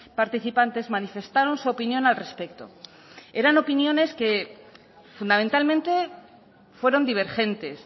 participantes manifestaron su opinión al respecto eran opiniones que fundamentalmente fueron divergentes